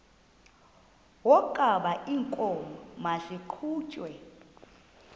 wokaba iinkomo maziqhutyelwe